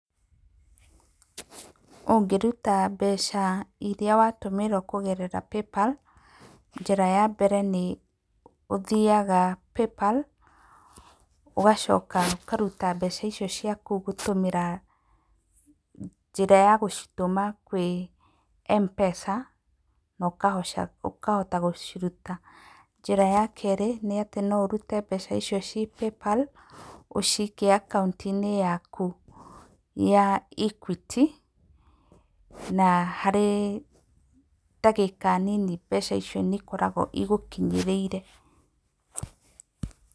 Ũngĩruta mbeca irĩa watũmĩrwo kũgerera PayPal; njĩra ya mbere nĩ ũthiaga PayPal ũgacoka ũkaruta mbeca icio ciaku gũtũmĩra njĩra ya gũcitũma kwĩ Mpesa na ũkahota gũciruta. Njĩra ya kerĩ nĩ atĩ no ũrute mbeca icio ciĩ PayPal ũcikie akaunti-inĩ yaku ya Equity na harĩ ndagĩka nini mbeca icio nĩ ikoragwo igũkinyĩrĩire.